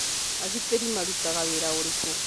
Agitĩri marutaga wĩra ũrĩkũ?